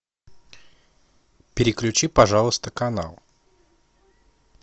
переключи пожалуйста канал